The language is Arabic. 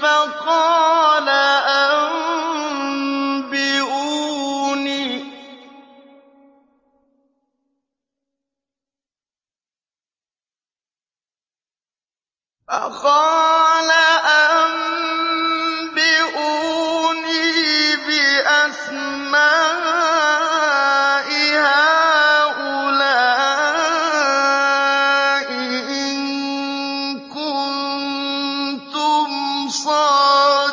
فَقَالَ أَنبِئُونِي بِأَسْمَاءِ هَٰؤُلَاءِ إِن كُنتُمْ صَادِقِينَ